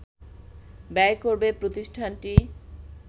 ব্যয় করবে প্রতিষ্ঠানটি